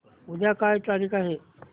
उद्या काय तारीख आहे